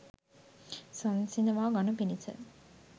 සංසිඳවා ගනු පිණිස